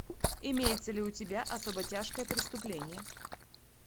имеется ли у тебя особо тяжкое преступление